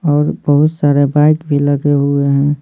और बहुत सारे बाइक भी लगे हुए हैं।